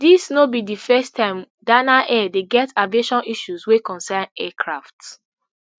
dis no be di first time dana air dey get aviation issues wey concern aircraft